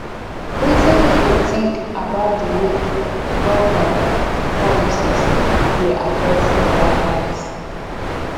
wetin you think about di way government policies dey affect our lives